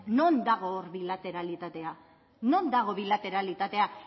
non dago hor bilateralitatea non dago bilateralitatea